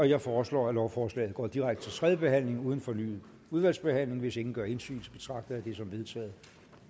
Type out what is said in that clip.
jeg foreslår at lovforslaget går direkte til tredje behandling uden fornyet udvalgsbehandling hvis ingen gør indsigelse betragter jeg det som vedtaget